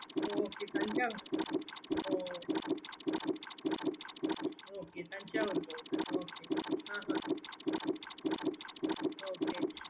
okay ooh okay Thanjavur போகுது okay okay